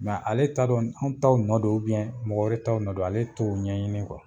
ale t'a dɔn anw ta nɔ don mɔgɔ wɛrɛ t'aw nɔ don. Ale t'o ɲɛɲini